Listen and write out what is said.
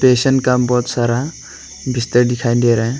Patient का बहुत सारा बिस्तर दिखाई दे रहा है।